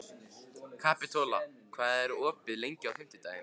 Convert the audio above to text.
Kapitola, hvað er opið lengi á fimmtudaginn?